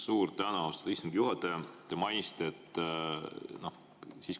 Suur tänu, austatud istungi juhataja!